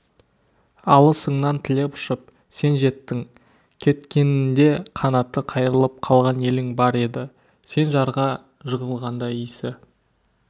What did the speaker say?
алысыңнан тілеп ұшып сен жеттің кеткенінде қанаты қайырылып қалған елің бар еді сен жарға жығылғанда исі